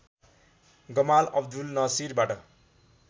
Gamal Abdel नासिरबाट